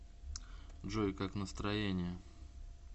джой как настроение